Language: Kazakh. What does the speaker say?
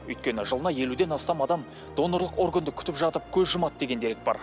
өйткені жылына елуден астам адам донорлық органды күтіп жатып көз жұмады деген дерек бар